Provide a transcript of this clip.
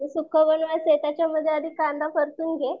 जे सुक्क होईल ना त्याच्यामध्ये आधी कांदा परतून घे.